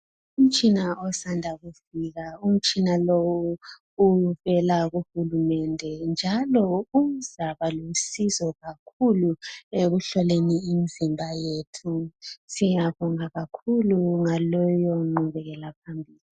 Umtshina osanda kufika. Umtshina lowu uvela kuhulumende njalo uzaba lusizo kakhulu ekuhloleni imizimba yethu .Siyabonga kakhulu ngaleyo ngqubekela phambili.